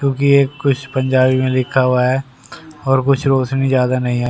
क्योंकि ये कुछ पंजाबी में लिखा हुआ है और कुछ रोशनी ज्यादा नहीं है।